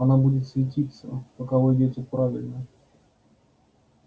она будет светиться пока вы идёте правильно